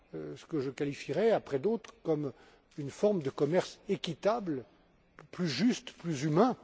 à ce que je qualifierai, après d'autres, comme une forme de commerce équitable, plus juste, plus humain.